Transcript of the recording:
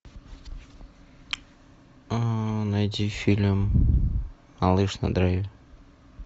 найти фильм малыш на драйве